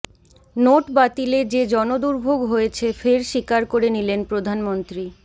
note বাতিলে যে জনদুর্ভোগ হয়েছে ফের স্বীকার করে নিলেন প্রধানমন্ত্রী